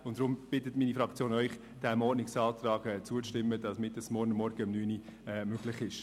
Deshalb bittet Sie meine Fraktion, diesem Ordnungsantrag zuzustimmen, damit dies morgen um 9 Uhr möglich ist.